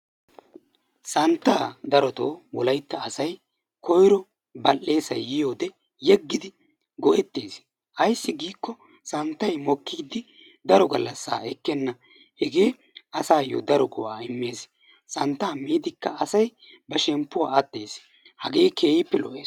Santtaa wolaitta asay koiro badhdheesay yiyode yegedi goettees. Ayssi giiko santtay mokkiidi daro gallasaa ekkena hegee asayoo daro go'aa immees. Santtaa miidikka asay ba shemppuwa attees. Hagee keehiippe lo'ees.